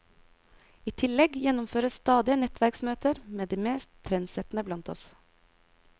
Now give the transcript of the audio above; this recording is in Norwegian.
I tillegg gjennomføres stadige nettverksmøter med de mest trendsettende blant oss.